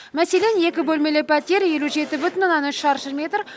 мәселен екі бөлмелі пәтер елу жеті бүтін оннан үш шаршы метр